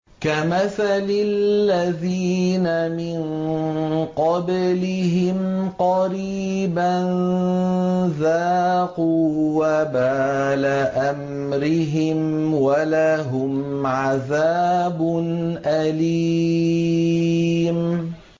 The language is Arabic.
كَمَثَلِ الَّذِينَ مِن قَبْلِهِمْ قَرِيبًا ۖ ذَاقُوا وَبَالَ أَمْرِهِمْ وَلَهُمْ عَذَابٌ أَلِيمٌ